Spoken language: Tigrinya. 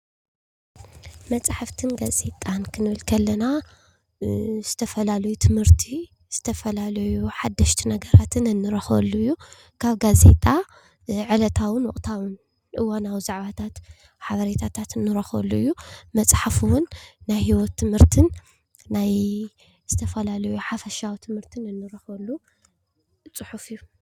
መፅሓፍትን ጋዜጣን ክንብል ከለና ዝተፈላለዩ ትምህርቲ ዝተፈላለዩ ሓደሽቲ ነገራትን እንረኽበሉ እዩ። ካብ ጋዜጣ ዕለታውን ወቕታውን እዋናዊ ዛዕባታት ሓበሬታት እንረኽበሉ እዩ። መፅሓፍ እውን ናይ ሂወት ትምህርትን ናይ ዝተፈላለዩ ሓፈሻዊ ትምህርትን እንረኽበሉ ፅሑፍ እዩ።